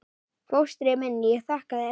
Fóstri minn, ég þakka þér.